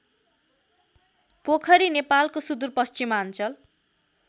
पोखरी नेपालको सुदूरपश्चिमाञ्चल